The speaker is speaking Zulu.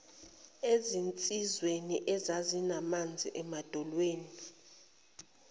ezinsizweni ezazinamanzi emadolweni